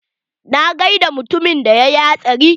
Na gaida mutumin da yayi hatsari.